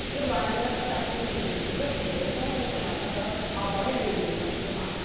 ирландияда кітап көрмесін өткізіп еуропалық оқырмандарды абай әлемімен таныстырмақ